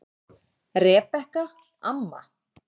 Rebekka amma.